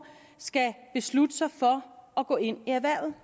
skal beslutte sig for at gå ind i erhvervet